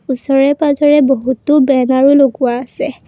ওচৰে পাজৰে বহুতো বেনাৰো লগোৱা আছে।